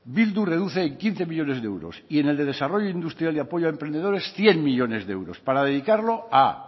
bildu reduce en quince millónes de euros y en el de desarrollo industrial y apoyo a emprendedores cien millónes de euros para dedicarlo a